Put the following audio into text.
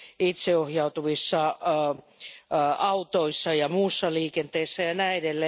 itseohjautuvissa autoissa ja muussa liikenteessä jne.